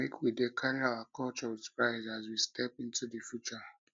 make we dey carry our culture with pride as we step into the future